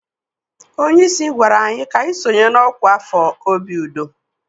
Onye isi gwara anyị ka anyị sonye na ọkwa afọ obi udo.